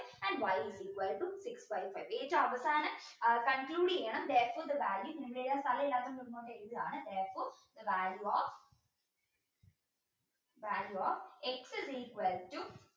and y is equal to six by five ഏറ്റവും അവസാനം conclude ചെയ്യണം therefore the value സ്ഥലമില്ലാത്തോണ്ട് ഇങ്ങോട്ട് എഴുത്താണ് therefore the value of value of x is equal to